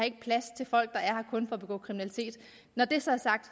plads til folk der er kun for at begå kriminalitet når det så er sagt